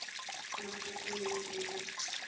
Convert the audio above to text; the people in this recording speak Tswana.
naga e nngwe e e